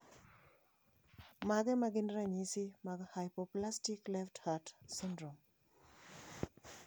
Mage magin ranyisi mag Hypoplastic left heart syndrome?